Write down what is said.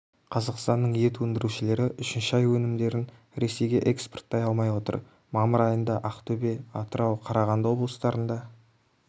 қазақстанның ет өндірушілері үшінші ай өнімдерін ресейге экспорттай алмай отыр мамыр айында ақтөбе атырау қарғанды облыстарында